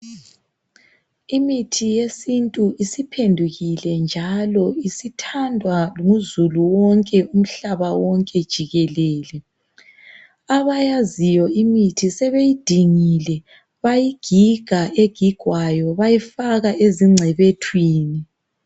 Imithi yesintu isiphendukile njalo isithandwa nguzulu wonke umhlaba wonke jikelele. Abayaziyo imithi sebeyidingile bayigiga egigwayo bayifaka ezingcebethweni.